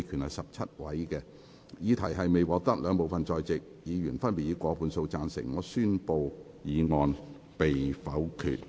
由於議題未獲得兩部分在席議員分別以過半數贊成，他於是宣布修正案被否決。